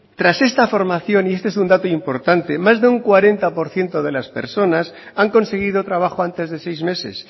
tras esta formación y este es un dato importante más de un cuarenta por ciento de las personas han conseguido trabajo antes de seis meses